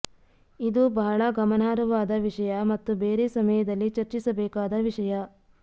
ಇದೂ ಬಹಳ ಗಮನಾರ್ಹವಾದ ವಿಷಯ ಮತ್ತು ಬೇರೆ ಸಮಯದಲ್ಲಿ ಚರ್ಚಿಸಬೇಕಾದ ವಿಷಯ